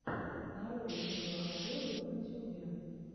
нарой видеообзоры в ютюбе